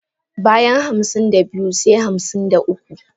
Bayan hamsin da biyu se hamsin da uku.